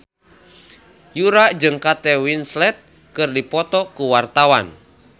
Yura jeung Kate Winslet keur dipoto ku wartawan